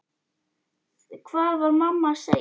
Hvað var mamma að segja?